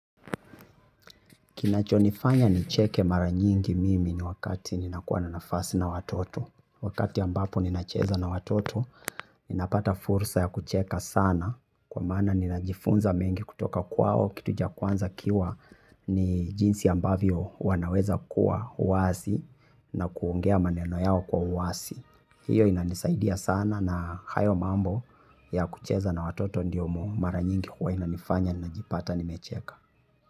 Kinachonifanya nicheke mara nyingi mimi ni wakati ninakuwa na nafasi na watoto. Wakati ambapo ninacheza na watoto, ninapata fursa ya kucheka sana. Kwa maana ninajifunza mengi kutoka kwao, kitu cha kwanza ikiwa ni jinsi ambavyo wanaweza kuwa wazi na kuongea maneno yao kwa uwasi. Hiyo inanisaidia sana na hayo mambo ya kucheza na watoto ndiyo mara nyingi huwa inanifanya, ninajipata, nimecheka.